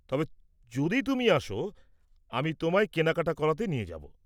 তবে যদি তুমি আসো, আমি তোমায় কেনাকাটা করাতে নিয়ে যাব।